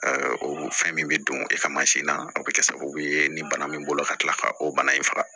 o fɛn min bɛ don e ka mansin na o bɛ kɛ sababu ye ni bana min b'o la ka tila ka o bana in faga